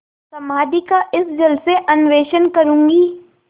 समाधि का इस जल से अन्वेषण करूँगी